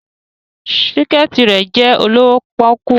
Her skirt is very cheap